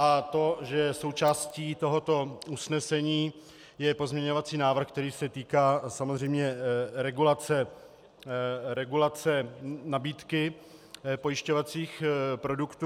A to, že součástí tohoto usnesení je pozměňovací návrh, který se týká samozřejmě regulace nabídky pojišťovacích produktů.